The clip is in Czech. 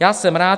Já jsem rád.